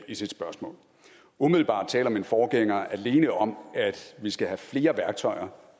i sit spørgsmål umiddelbart taler min forgænger alene om at vi skal have flere værktøjer